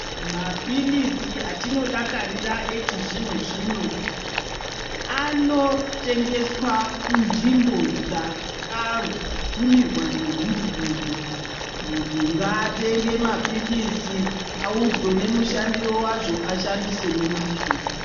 Maphirizi atinodakarira echizvino zvino anotengeswa kunzvimbo dzakabvumirwa ngehurumende. Munhu ngaatenge mapirizi audzwe nemushandire wazvo, ashandise ngemwazvo.